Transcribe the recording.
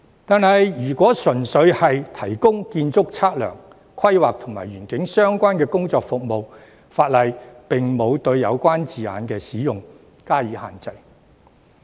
可是，如果純粹只是提供建築測量、規劃及園境相關的工作服務，法例則沒有對有關字眼的使用施加限制。